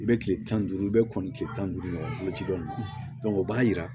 I bɛ kile tan ni duuru i bɛ kɔnni kile tan ni duuru ɲɔgɔn ji dɔ o b'a jira